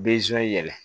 yɛlɛ